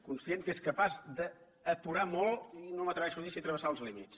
conscient que és capaç d’apurar molt i no m’atreveixo a dir si travessar els límits